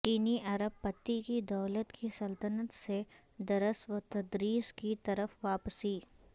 چینی ارب پتی کی دولت کی سلطنت سے درس وتدریس کی طرف واپسی